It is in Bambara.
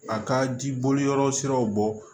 A ka jiboli yɔrɔ siraw bɔ